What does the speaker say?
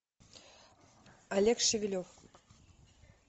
олег шевелев